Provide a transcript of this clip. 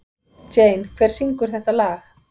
Jane, hver syngur þetta lag?